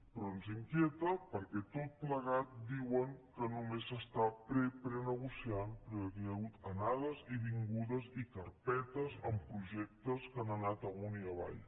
però ens inquieta perquè tot plegat diuen que només s’està preprenegociant però aquí hi ha hagut anades i vingudes i carpetes amb projectes que han anat amunt i avall